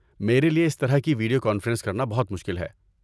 میرے لیے اس طرح کی ویڈیو کانفرنس کرنا بہت مشکل ہے۔